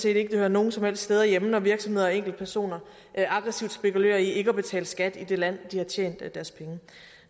ikke at det hører nogen som helst steder hjemme når virksomheder og enkeltpersoner aggressivt spekulerer i ikke at betale skat i det land de har tjent deres penge